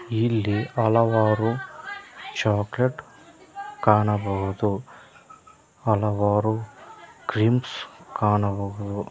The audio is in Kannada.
ಇಲ್ಲಿ ಹಲವಾರು ಚಾಕಲೇಟ್ ಕಾಣಬಹುದು ಹಲವಾರು ಕ್ರೀಮ್ಸ್ ಕಾಣಬಹುದು.